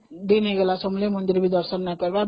ଦିନ ହେଇଗଲା ସମଲେଇଙ୍କ ମନ୍ଦିର ଦର୍ଶନ ନ କରିବାର